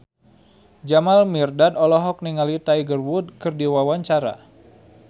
Jamal Mirdad olohok ningali Tiger Wood keur diwawancara